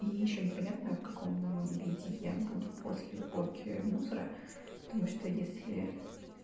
и ещё непонятно в каком виде я буду после уборки мусора потому что если